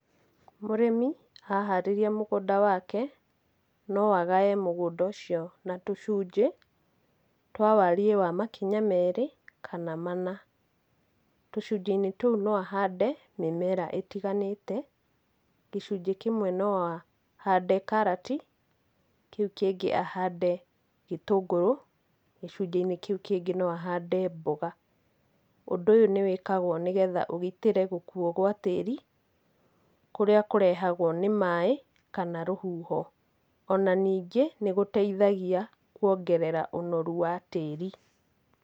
Mũrĩmi aharĩria mũgũnda wake noagae mũgũnda ũcio na tũcunjĩ, twa wariĩ wa makinya merĩ kana mana, tucunjĩinĩ tũu no ahande mĩmera ĩtiganĩte, gĩcunjĩi kĩmwe no ahande karati, kĩu kĩngĩ ahande gĩtũngũrũ, gĩcunjĩini kĩu kĩngĩ noahande mboga, ũndũ ũyũ nĩwĩkagwo nĩgetha ugitĩre gũkuo gwa tĩri, kũrĩa kũrehagwo nĩ maĩ kana rũhuho, ona ningĩ nĩgũteithagia kuongerera ũnoru wa tĩri.